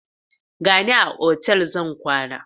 Gata a otal zan kwana.